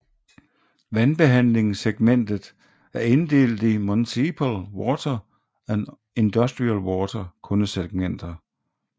Vandbehandlingssegmentet er inddelt i Municipal Water and Industrial Water kundesegmenter